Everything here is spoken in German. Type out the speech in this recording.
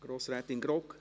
Grossrätin Grogg?